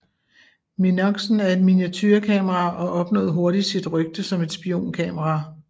Minoxen er et miniaturekamera og opnåede hurtigt sit rygte som et spionkamera